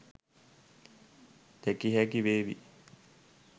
දැකිය හැකි වේවි.